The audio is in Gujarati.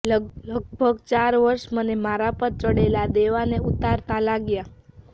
લગભગ ચાર વર્ષ મને મારા પર ચડેલાં દેવાંને ઉતારતાં લાગ્યાં